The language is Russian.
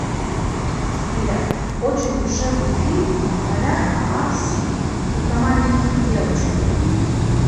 сбер очень душевный фильм в ролях омар си и про маленькую девочку